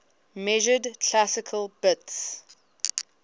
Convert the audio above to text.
measured classical bits